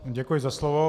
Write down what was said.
Děkuji za slovo.